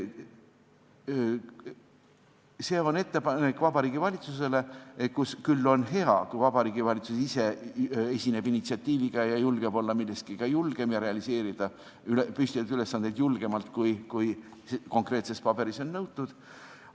See on Vabariigi Valitsusele tehtav ettepanek, mille puhul on hea, kui Vabariigi Valitsus ise esineb initsiatiiviga ja julgeb olla milleski julgem, püstitada ja realiseerida ülesandeid julgemalt, kui konkreetses paberis on nõutud.